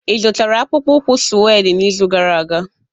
Ị zụtara akpụkpọ ụkwụ suede n'izu gara aga?